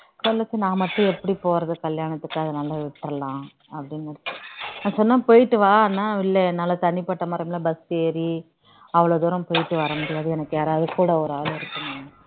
நான் மட்டும் எப்படி போறது கல்யானத்துக்கு அதனால விட்டுற்லாம் அப்படின்னு நான் சொன்னேன் போயிட்டு வான்னா இல்ல என்னால தனிப்பட்ட முறையில bus ஏறி அவ்ளோ தூரம் போயிட்டு வர்ற முடியாது எனக்கு யாராவது கூட ஒரு ஆளு